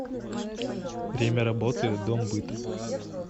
время работы дом быта